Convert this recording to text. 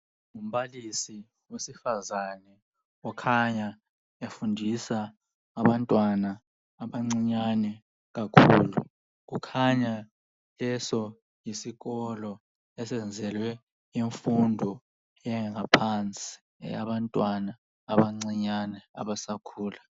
Umbalisi wesifazane okhanya efundisa abantwana abancinyane kakhulu, kukhanya leso isikolo esenzelwe imfundo eyangaphansi eyabantwana abancinyane abasakhula.